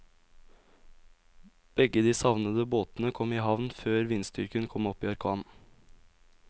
Begge de savnede båtene kom i havn før vindstyrken kom opp i orkan.